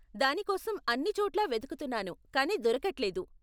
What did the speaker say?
దాని కోసం అన్ని చోట్లా వెతుకుతున్నాను కానీ దొరకట్లేదు.